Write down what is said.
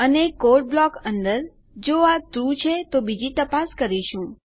અને code block અંદર જો આ ટ્રૂ છે તો બીજી તપાસ કરીશું